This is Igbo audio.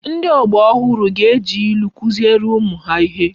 Ndi ogba ohuru ga eji ilu kuziere umu ha ihe